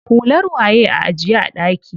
Hular waye a ajiye a ɗaki?